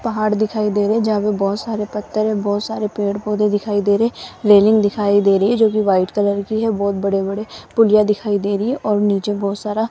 पहाड़ दिखाई दे रहे जहां पे बहोत सारे पत्थर है बहोत सारे पेड़ पौधे दिखाई दे रहे रेलिंग दिखाई दे रही है जोकि वाइट कलर की है बहोत बड़े बड़े पुलिया दिखाई दे रही है और नीचे बहोत सारा --